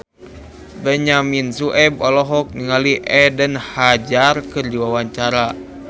Benyamin Sueb olohok ningali Eden Hazard keur diwawancara